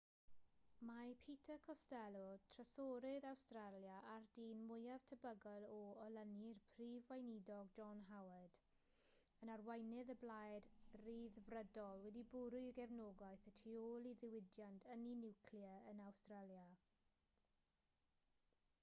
mae peter costello trysorydd awstralia a'r dyn mwyaf tebygol o olynu'r prif weinidog john howard yn arweinydd y blaid ryddfrydol wedi bwrw'i gefnogaeth y tu ôl i ddiwydiant ynni niwclear yn awstralia